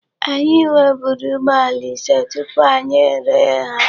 Anyị nweburu ụgbọala ise tupu anyị ere ha.